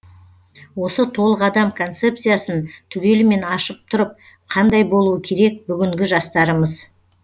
осы толық адам концепциясын түгелімен ашып тұрып қандай болуы керек бүгінгі жастарымыз